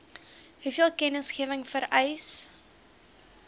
hoeveel kennisgewing vereis